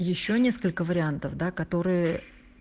ещё несколько вариантов да которые